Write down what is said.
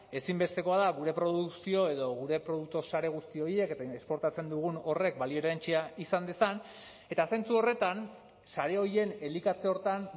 ezinbestekoa da gure produkzio edo gure produktu sare guzti horiek eta esportatzen dugun horrek balio erantsia izan dezan eta zentzu horretan sare horien elikatze horretan